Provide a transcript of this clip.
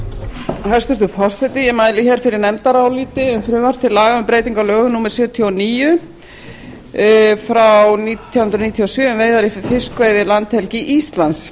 hæstvirtur forseti ég mæli fyrir nefndaráliti um frumvarp til laga um breyting á lögum númer sjötíu og níu nítján hundruð níutíu og sjö um veiðar í fiskveiðilandhelgi íslands